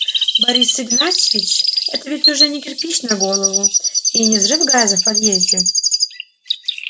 борис игнатьевич это ведь уже не кирпич на голову и не взрыв газа в подъезде